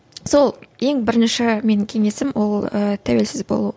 сол ең бірінші менің кеңесім ол ііі тәуелсіз болу